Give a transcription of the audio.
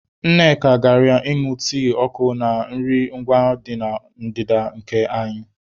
Nneka gara ịñụ tii ọkụ na nri ngwa dị na ndịda nke anyị.